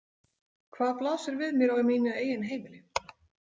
Hvað blasir við mér á mínu eigin heimili?